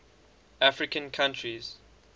african countries